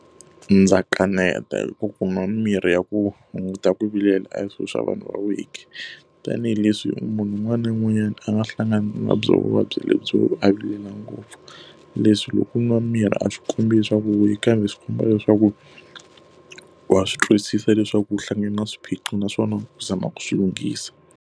Ndza kaneta hikuva ku nwa mimirhi ya ku hunguta ku vilela a hi swilo swa vanhu va weak tanihileswi munhu un'wana na un'wanyana a nga hlangana na byona vuvabyi lebyi byo a vilela ngopfu. Leswi loko nwa mirhi a swi kombi leswaku u weak kambe swi komba leswaku wa swi twisisa leswaku u hlangane na swiphiqo naswona u zama ku swi lunghisa.